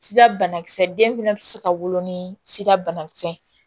Sida banakisɛ den fɛnɛ ti se ka wolo ni sida banakisɛ ye